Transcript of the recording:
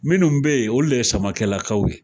Minnu bɛ yen olu de ye Samakɛlakaw ye.